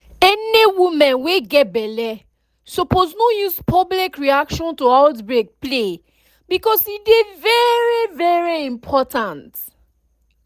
any women wey get belle suppose no use public reaction to outbreak play because e dey very very important